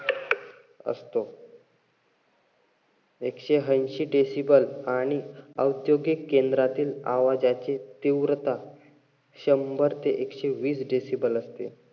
एकशे ऐंशी decible आणि औद्योगिक केंद्रातील आवाजाची तीव्रता शंभर ते एकशेवीस decible असते.